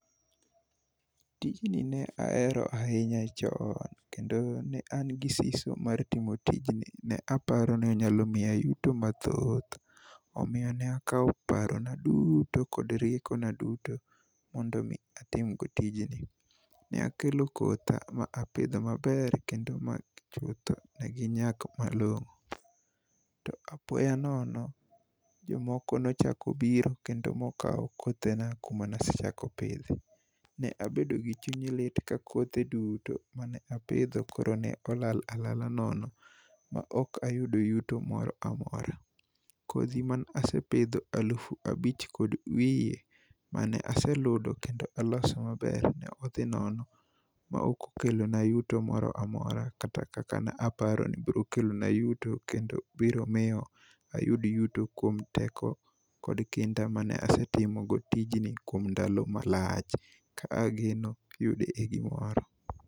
Tijni ne ahero ahinya jowa kendo ne an gi siso mar timo tijni. Ne aparo ni onyalo miya yuto mathoth. Omiyo nakawo paro na duto kod rieko na duto mondo mi atim go tijni. Ne akelo kotha mi apidho maber kendo chutho ginyak malong'o . To apoya nono jomoko nochako biro mokawo kothe na kama ne asechako pidhe. Ne abedo gi chuny lit ka kothe duto mane apidho koro ne olal alal nono ma ok ayudo yuto moro amora. Kodhi masepidho alufu abich kod wiye mane aseludo kendo aloso maber nodhi nono mok okelo na yuto moramora kata kaka ne aparo ni dokel na yuto, kendo biro miyo ayud ayuto kum teko kod kinda mane asetimogo tijni kuom ndalo malach ka ageno yude e gimoro.